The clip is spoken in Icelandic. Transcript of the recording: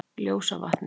Ljósavatni